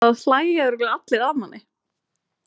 Það hlæja örugglega allir að manni.